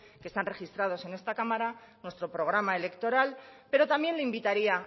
que están registrado en esta cámara nuestro programa electoral pero también le invitaría